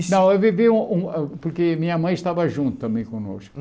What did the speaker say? Não, eu vivi, um um ah porque minha mãe estava junto também conosco.